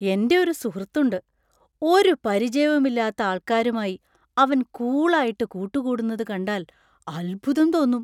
എൻ്റെ ഒരു സുഹൃത്ത് ഉണ്ട്. ഒരു പരിചയവും ഇല്ലാത്ത ആൾക്കാരുമായി അവൻ കൂൾ ആയിട്ട് കൂട്ടുകൂടുന്നത് കണ്ടാൽ അത്ഭുതം തോന്നും.